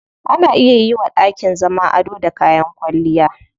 Ana iya yiwa dakin zama ado da kayan kwalliya.